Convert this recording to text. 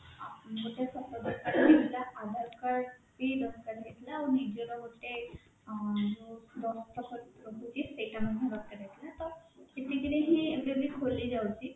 ଗୋଟେ photo ଦରକାର ହେଇଥିଲା Aadhaar card ବି ଦରକାର ହେଇଥିଲା ଆଉ ନିଜର ଗୋଟେ ଅଁ ଯୋଉ ଦସ୍ତଖତ ରହୁଛି ସେଇଟା ମଧ୍ୟ ଦରକାର ହେଇଥିଲା ତ ସେତିକି ରେ ହିଁ easily ଖୋଲିଯାଉଛି